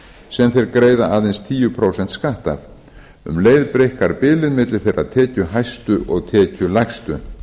sem þeir greiða aðeins tíu prósent skatt af um leið breikkar bilið milli þeirra tekjuhæstu og tekjulægstu